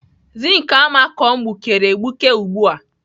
Zink amako m gbukere egbuke ugbu a.